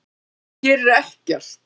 Hann gerir ekkert!